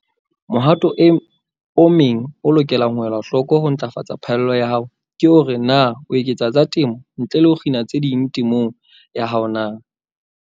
Mohato o meng o lokelang ho elwa hloko ho ntlafatsa phaello ya hao ke hore na o eketsa tsa temo ntle le ho kgina tse ding temong ya hao na.